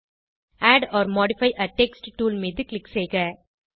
add or modify a text tool மீது click செய்க